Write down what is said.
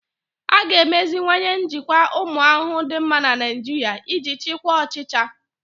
A ga-emeziwanye njikwa ụmụ ahụhụ dị mma na Naijiria iji chịkwaa ọchịcha.